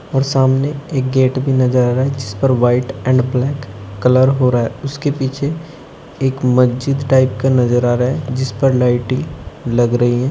और सामने एक गेट भी नजर आ रहा है जिस पर व्हाइट एंड ब्लैक कलर हो रहा है उसके पीछे एक मस्जिद टाइप का नजर आ रहा है जिसपर लाइटिंग लग रही है।